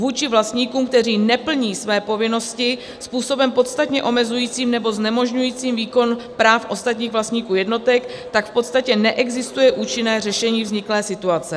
Vůči vlastníkům, kteří neplní své povinnosti způsobem podstatně omezujícím nebo znemožňujícím výkon práv ostatních vlastníků jednotek, tak v podstatě neexistuje účinné řešení vzniklé situace.